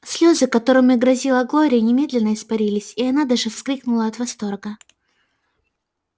слёзы которыми грозила глория немедленно испарились и она даже вскрикнула от восторга